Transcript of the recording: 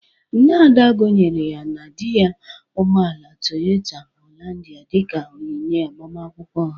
Nna Ada gonyere ya na dị ya ụgbọala Toyota haịlanda dịka onyinye agbamakwụkwọ ha.